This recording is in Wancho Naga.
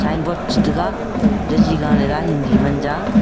sign board chetega jaji ga lela hindi manja.